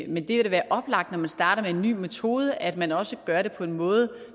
men det vil da være oplagt når man starter med en ny metode at man også gør det på en måde